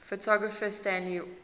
photographer stanley forman